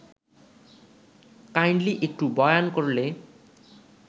kindly একটু বয়ান করলে